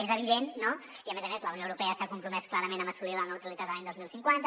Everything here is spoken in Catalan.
és evident no i a més a més la unió europea s’ha compromès clarament a assolir la neutralitat l’any dos mil cinquanta